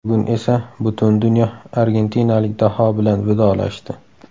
Bugun esa butun dunyo argentinalik daho bilan vidolashdi.